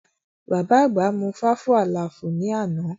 Bàbá àgbà mú fáfú àlaàfù ní àná